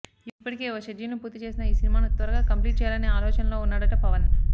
ఇప్పటికే ఓ షెడ్యూల్ ని పూర్తీ చేసిన ఈ సినిమాను త్వరగా కంప్లీట్ చేయాలనే ఆలోచనలో ఉన్నాడట పవన్